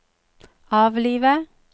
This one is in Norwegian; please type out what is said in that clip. avlive